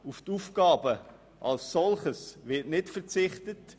Auf die Aufgaben als solche wird nicht verzichtet.